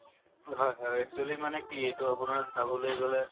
হয় হয় actually মানে কি এইটো আপোনাৰ চাবলৈ গ'লে